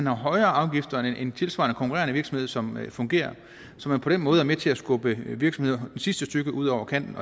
højere afgifter end en tilsvarende konkurrerende virksomhed som fungerer så man på den måde er med til at skubbe virksomheder sidste stykke ud over kanten